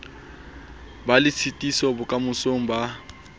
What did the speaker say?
be le tshitiso bokamosong ba